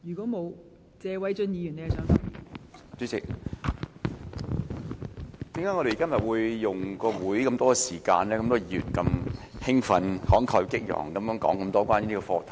代理主席，為何今天有那麼多議員花那麼多會議時間，如此興奮、慷慨激昂地談論這個課題？